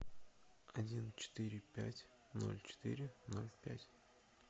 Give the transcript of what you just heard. один четыре пять ноль четыре ноль пять